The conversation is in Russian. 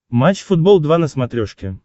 матч футбол два на смотрешке